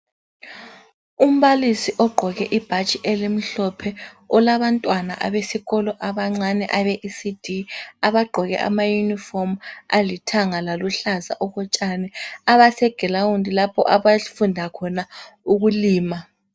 Umbalisi ogqoke ibhatshi elimhlophe olabantwana abesikolo abancane abe Ecd abagqoke ama yunifomu alithanga laluhlaza okotshani abasegilawundi lapho abafunda khona ukulima.